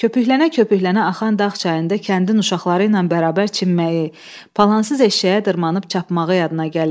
Köpkülənə-köpüklənə axan dağ çayında kəndin uşaqları ilə bərabər çimməyi, palansız eşşəyə dırmanıb çapmağı yadına gəlirdi.